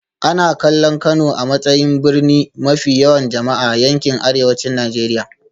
Ana kallon Kano a matsayin birni mafi yawan jama'a a yankin Arewacin Najeriya